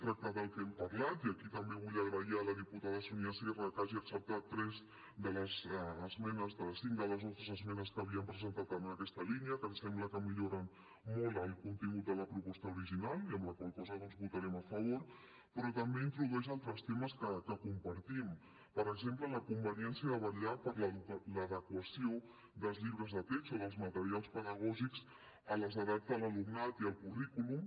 tracta del que hem parlat i aquí també vull agrair a la diputada sonia sierra que hagi acceptat tres de cinc de les nostres esmenes que havíem presentat en aquesta línia que ens sembla que milloren molt el contingut de la proposta original i amb la qual cosa doncs votarem a favor però també introdueix altres temes que compartim per exemple la conveniència de vetllar per l’adequació dels llibres de text o dels materials pedagògics a les edats de l’alumnat i al currículum